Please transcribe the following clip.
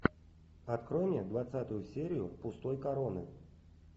открой мне двадцатую серию пустой короны